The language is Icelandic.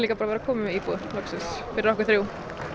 vera komin með íbúð loksins fyrir okkur þrjú